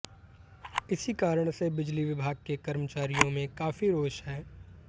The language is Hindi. इसी कारण से बिजली विभाग के कर्मचारियों में काफी रोष है